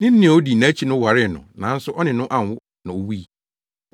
Ne nua a odi nʼakyi no waree no nanso ɔne no anwo na owui.